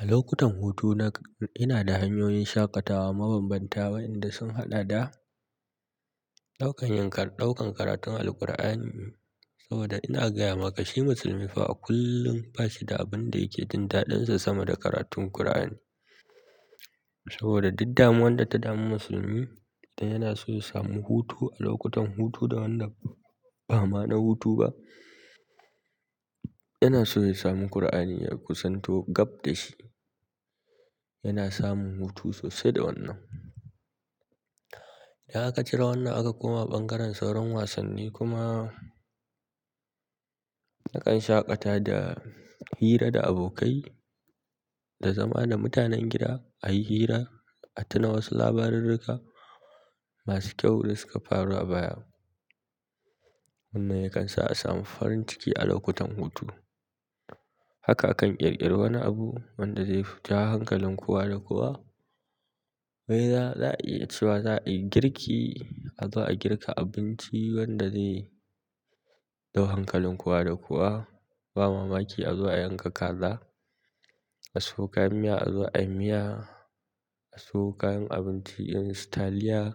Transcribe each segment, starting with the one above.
A lokutan hutu na, ina da hanyoyin shaƙatawa mabambanta waɗanda sun haɗa da ɗaukan karatun Alqur'ani saboda ina gaya maka shi musulmi fa kullum bashi da abin da yake jin daɗinsa sama da karatun Kur'ani saboda duk damuwan da ta damu musulmi yana so ya samu hutu a lokutan hutu da wanda ba ma na hutu ba yana so ya sami Kur'ani ya kusanto gab dashi yana samun hutu sosai da wannan. In aka cire wannan aka koma ɓangaren sauran wasanni kuma nakan shaƙata da hira da abokai da zama da mutanen gida a yi hira, a tuna wasu labarirrika masu kyau da suka faru a baya. Wanna yakan sa a samu farin ciki a lokutan hutu. Haka akan ƙirƙiri wani abu wanda zai fi ta hankalin kowa da kowa. Wai za, za a iya cewa za a yi girki, a zo a girka abinci wanda zai ɗau hankalin kowa da kowa. Ba mamaki a zuwa a yanka kaza, a suwo kayan miya azo ayi miya, a so kayan abinci irin su taliya,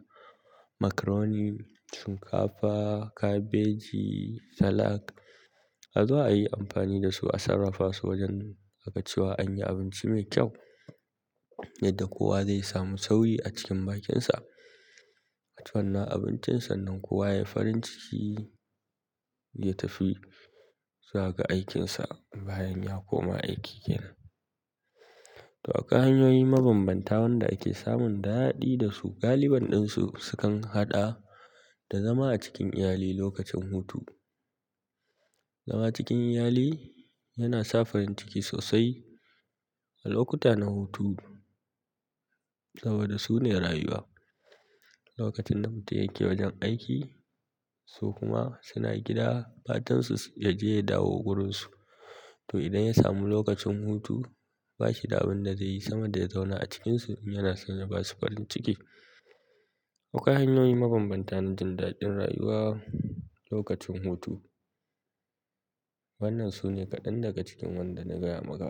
macaroni, shinkafa, kabeji, salak azo ayi amfani dasu a sarrafa su wajen a ka ci wa an yi abinci mai kyau yadda kowa zai samu sauyi a cikin bakinsa. Aci wannan abincin sannan kowa yayi farin ciki ya tafi zuwa ga aikinsa bayan ya koma aiki kenan. To akwai hanyoyi mabambanta wanda ake samun daɗi dasu galiban ɗinsu sukan haɗa da zama a cikin iyali lokacin hutu. Zama cikin iyali yana sa farin ciki sosai a lokuta na hutu saboda su ne rayuwa. Lokacin da mutum yake wajen aiki su kuma suna gida fatan su ya je ya dawo wurinsu to idan ya samu lokacin hutu bashi da abin da zai yi sama da ya zauna a cikinsu in yana son ya basu farin ciki. Akwai hanyoyi mabambanta na jin daɗin rayuwa lokacin hutu. Wannan su ne kaɗan daga cikin wanda na gaya maka.